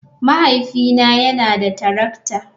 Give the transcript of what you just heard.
Mahaifina yana da tarakta.